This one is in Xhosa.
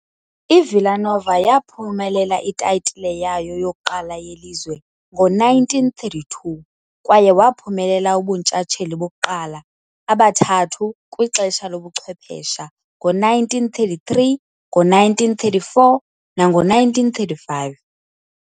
I-Villa Nova yaphumelela itayitile yayo yokuqala yelizwe ngo-1932 kwaye waphumelela ubuntshatsheli bokuqala abathathu kwixesha lobuchwephesha ngo-1933, ngo-1934 nango-1935.